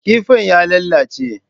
Kifin ya lalace.